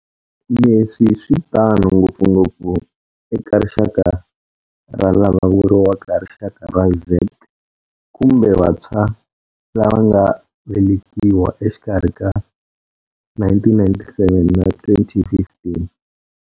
Leswi switano ngopfungopfu eka rixaka ra lava vuriwaka Rixaka ra Z, kumbe vantshwa lava nga velekiwa exikarhi ka 1997 na 2015.